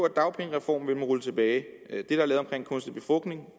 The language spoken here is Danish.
at dagpengereformen vil man rulle tilbage det der er lavet omkring kunstig befrugtning